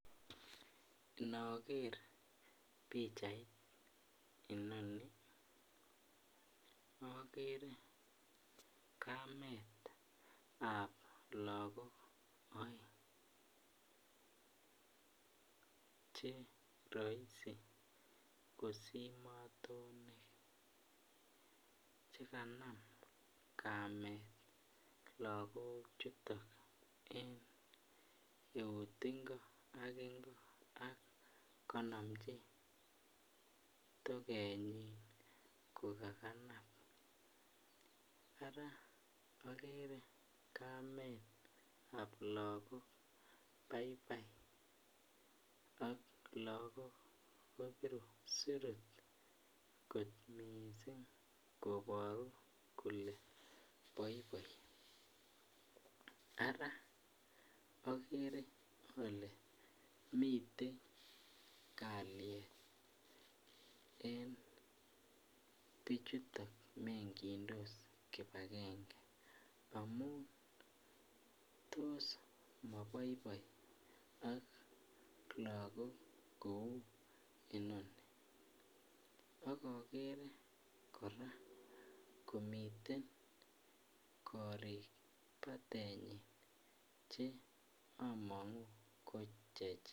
Nookerr pichait enonii akeree kametap lakok oeng chekanam kamet lakok chutok en euut ak kokanomchii token yii araa akeree kametap lakok baibai aklakok koporuu kolee boiboi araa akeree kolee miten kalyet eng pichutok koraa komiite korik patentii